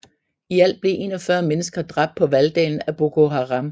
I alt blev 41 mennesker dræbt på valgdagen af Boko Harem